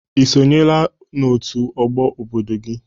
Ị sonyela n'òtù Ọgbọ obodo gị?